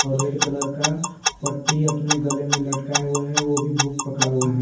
और red colour का पट्टी अपने गले में लटकाये हुआ है वो भी बुक पकड़ा हुआ है।